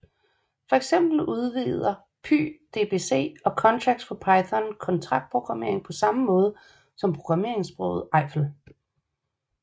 For eksempel udvider pyDBC og Contracts for Python kontraktprogrammering på samme måde som programmeringssproget Eiffel